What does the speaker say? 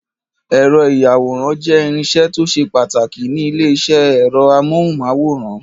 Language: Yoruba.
Ẹ̀rọ ìyàwòrán jẹ́ irinṣẹ́ tó ṣe pàtàkì ní ilé-iṣẹ́ ẹ̀rọ amóhùmáwòhán.